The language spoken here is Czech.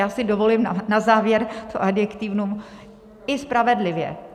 Já si dovolím na závěr to adjektivum - i spravedlivě.